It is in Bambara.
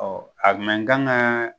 a mɛ n kan ka